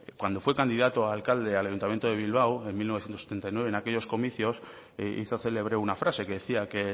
cuando fue candidato a alcalde al ayuntamiento de bilbao en mil novecientos setenta y nueve en aquellos comicios hizo célebre una frase que decía que